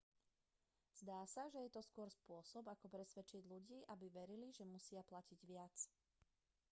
zdá sa že to je skôr spôsob ako presvedčiť ľudí aby verili že musia platiť viac